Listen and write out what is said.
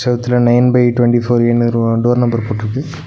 செவுத்துல nine by twenty four ஏனு row door number போட்ருக்கு.